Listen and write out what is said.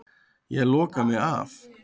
Ég loka mig af.